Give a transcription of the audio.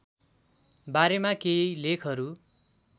बारेमा केही लेखहरू